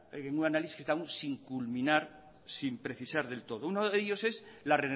análisis que está aún sin culminar sin precisar del todo uno de ellos es la